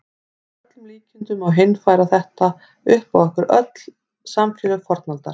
Að öllum líkindum má heimfæra þetta upp á öll samfélög fornaldar.